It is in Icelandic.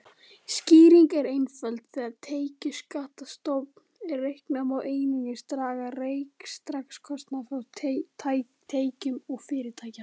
Skýringin er einföld: Þegar tekjuskattsstofn er reiknaður má einungis draga rekstrarkostnað frá tekjum fyrirtækja.